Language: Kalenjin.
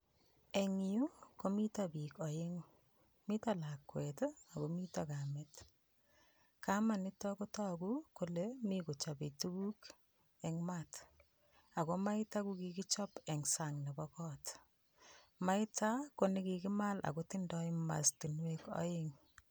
Eng yu komito biik aeng'u. Mito lakwet, akomito kamet. Kamanito kotoku kole mi kochope tuguk eng mat ako maito ko kikichop eng sang nepo kot, maito ko nikikimal akotindoi mastinwek aeng.